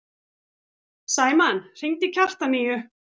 Sæmann, hringdu í Kjartaníu.